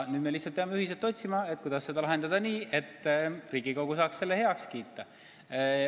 Nüüd me lihtsalt peame ühiselt otsima, kuidas seda lahendada nii, et Riigikogu saaks selle heaks kiita.